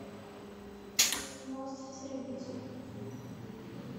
мост в терабитию